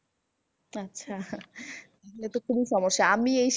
আচ্ছা এইটা তো খুবই সমস্যা। আমি এই